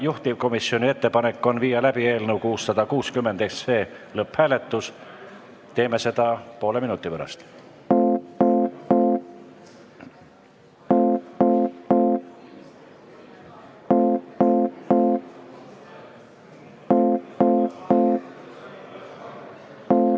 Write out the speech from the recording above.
Juhtivkomisjoni ettepanek on viia läbi eelnõu 660 lõpphääletus, teeme seda poole minuti pärast.